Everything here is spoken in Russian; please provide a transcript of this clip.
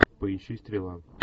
поищи стрела